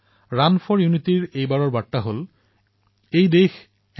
run for unity দেশৰ একতাৰ প্ৰতীক